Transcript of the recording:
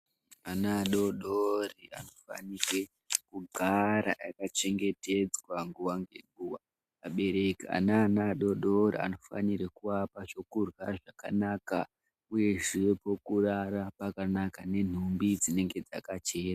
Ana adodori anofanirwe kugara akachengetedzwa nguwa ngenguwa. Abereki ane ana adodori anofanirwe kuvapa zvekurya zvakanaka uyezve pokurara pakanaka nenhumbi dzinenge dzakachena.